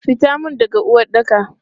Fitan mun daga uwaɗɗaka!